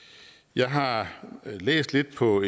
jeg har læst lidt på